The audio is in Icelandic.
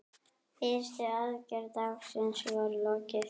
Fyrstu aðgerð dagsins var lokið.